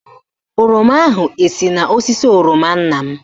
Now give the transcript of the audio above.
Oroma ahụ esi n'osisi oroma nna m?